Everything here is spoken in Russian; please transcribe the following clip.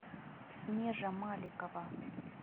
снежа маликова